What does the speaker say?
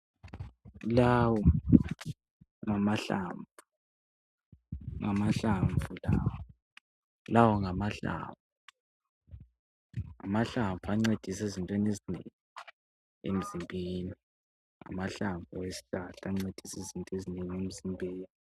Lawo ngamahlamvu, Ngamahlamvu lawo. Lawo ngamahlamvu. Ngamahlamvu, ancedisa ezintweni ezinengi emzimbeni. Ngamahlamvu awesihlahla, ancedisa ezintweni ezinengi, emzimbeni.